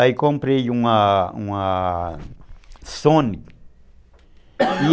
Aí comprei uma uma Sony